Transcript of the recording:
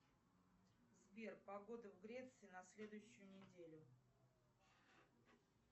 сбер погода в греции на следующую неделю